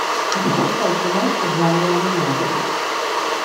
запускай киношку в жанре аниме